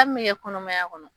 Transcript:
min ye kɔnɔmaya kɔnɔ